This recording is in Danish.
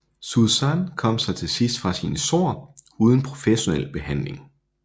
Suesan kom sig til sidst fra sine sår uden professionel behandling